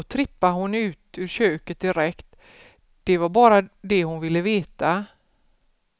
Då trippade hon ut ur köket direkt, det var bara det hon ville veta.